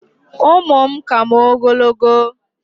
ụmụ m ka m ogologo